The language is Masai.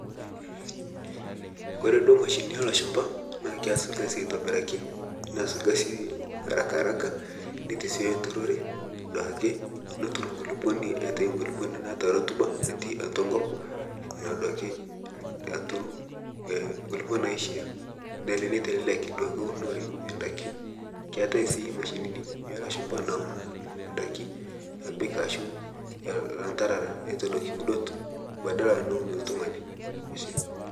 Ore duo mashinini olashumba naa keas olkasi aitobiraki. Neas olkasi arakaraka nitasioyo enturore aitobiraki netur nkulukoni aitayu nkulukoni naata rutuba natii atua enkop, aturu nkulukok naishaa nitelelek duake unore oodaiki. Keetai sii mashinini apa naun indaiki nepik ashu ilanderara nepik uudot badala neun iltungani.